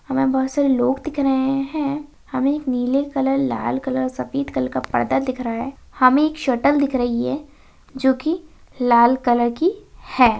हमें बहुत सारे लोग दिख रहे हैं | हमें नीले कलर लाल कलर सफ़ेद कलर का पर्दा दिख रहा है | हमें एक सटल दिख रही है जो की लाल कलर की है |